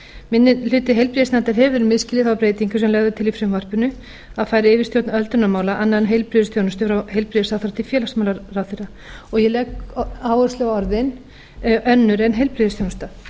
minni hluti heilbrigðisnefndar hefur misskilið þá breytingu sem lögð er til í frumvarpinu að færa yfirstjórn öldrunarmála annarra en heilbrigðisþjónustu frá heilbrigðisráðherra til félagsmálaráðherra og ég legg áherslu á orðin önnur en heilbrigðisþjónusta